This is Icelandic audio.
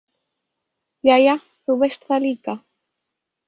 Jæja, þú veist það líka